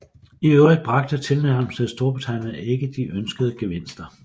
I øvrigt bragte tilnærmelsen til Storbritannien ikke de ønskede gevinster